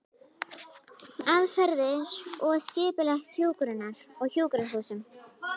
Aðferðir og skipulag hjúkrunar á sjúkrahúsum